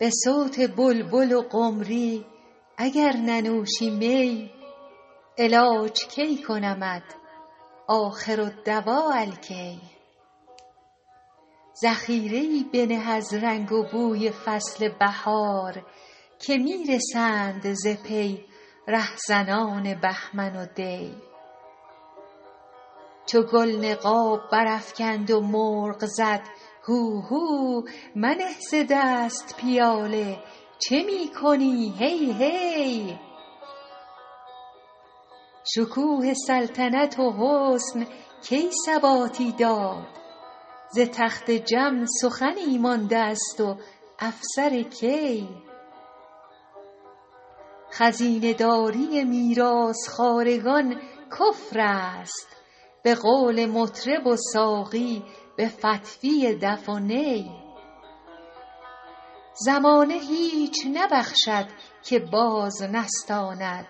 به صوت بلبل و قمری اگر ننوشی می علاج کی کنمت آخرالدواء الکی ذخیره ای بنه از رنگ و بوی فصل بهار که می رسند ز پی رهزنان بهمن و دی چو گل نقاب برافکند و مرغ زد هوهو منه ز دست پیاله چه می کنی هی هی شکوه سلطنت و حسن کی ثباتی داد ز تخت جم سخنی مانده است و افسر کی خزینه داری میراث خوارگان کفر است به قول مطرب و ساقی به فتویٰ دف و نی زمانه هیچ نبخشد که باز نستاند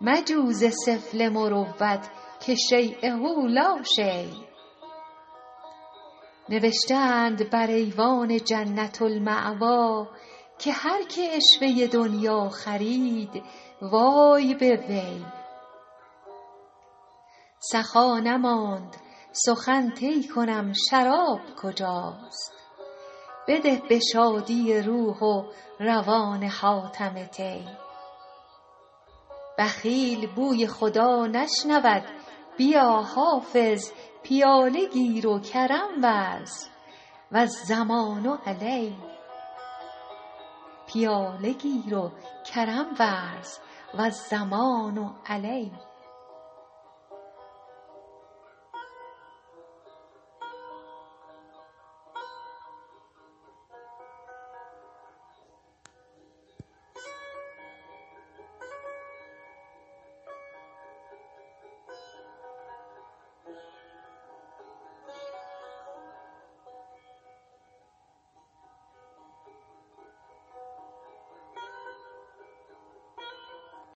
مجو ز سفله مروت که شییه لا شی نوشته اند بر ایوان جنة الماویٰ که هر که عشوه دنییٰ خرید وای به وی سخا نماند سخن طی کنم شراب کجاست بده به شادی روح و روان حاتم طی بخیل بوی خدا نشنود بیا حافظ پیاله گیر و کرم ورز و الضمان علی